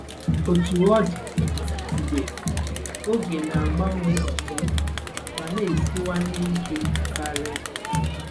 Otú ọ dị, dị, oge na-agbanwe ọzọ ma na-esiwanye ike karị.